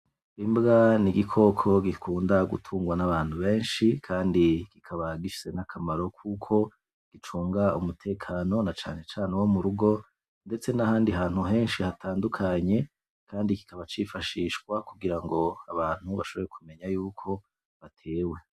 Imbwa n' igikoko gikunda gutungwa n' abantu benshi kandi kikaba gifise akamaro kuko gicunga umutekano na cane cane wo murugo ndetse n' ahandi hantu henshi hatandukanye kandi kikaba cifashishwa no kugirango abantu bashobore kumenya yuko batewe.